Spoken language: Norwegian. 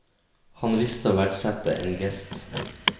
Han visste å verdsette en gest.